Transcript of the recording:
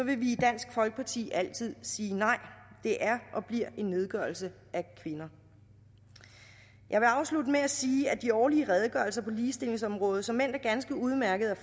vi i dansk folkeparti altid sige nej det er og bliver en nedgørelse af kvinder jeg vil afslutte med at sige at de årlige redegørelser på ligestillingsområdet såmænd er ganske udmærkede at